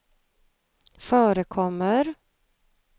förekommer